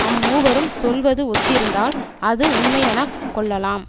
அம்மூவரும் சொல்வது ஒத்திருந்தால் அது உண்மையெனக் கொள்ளலாம்